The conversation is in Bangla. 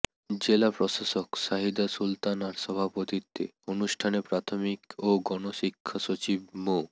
জেলা প্রশাসক সাহিদা সুলতানার সভাপতিত্বে অনুষ্ঠানে প্রাথমিক ও গণশিক্ষা সচিব মো